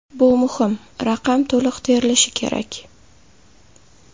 Bu muhim: raqam to‘liq terilishi kerak.